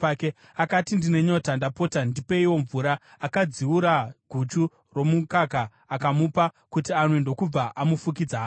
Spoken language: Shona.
Akati, “Ndine nyota. Ndapota, ndipeiwo mvura.” Akadziura guchu romukaka, akamupa kuti anwe, ndokubva amufukidza hake.